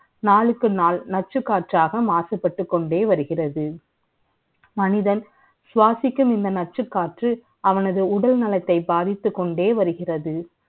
அதுக்கு நாள் நச்சு காற்றாக மாசுபட்டுக் கொண்டே வருகின்றது மனிதன் சுவாசிக்கும் இந்த நச்சுக்காற்று அவனது உடல் நலத்தை பாதித்துக் கொண்டே வருகிறது